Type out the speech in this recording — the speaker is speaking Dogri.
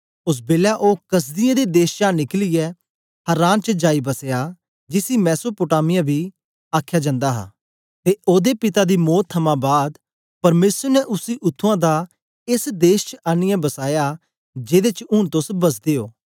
ओस बेलै ओ कसदियें दे देश चा निकलियै हारान च जाई बसया जिसी मेसोपोटामिया बी आखया जंदा हा ते ओदे पिता दी मौत थमां बाद परमेसर ने उसी उत्त्थुआं दा एस देश च आनीयै बसाया जेदे च ऊन तोस बसदे ओ